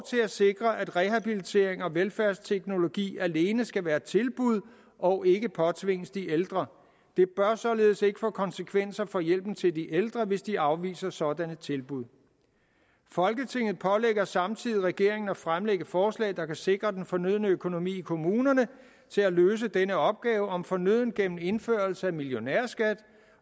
at sikre at rehabilitering og velfærdsteknologi alene skal være et tilbud og ikke påtvinges de ældre det bør således ikke få konsekvenser for hjælpen til de ældre hvis de afviser sådanne tilbud folketinget pålægger samtidig regeringen at fremlægge forslag der kan sikre den fornødne økonomi i kommunerne til at løse denne opgave om fornødent gennem indførelse af millionærskat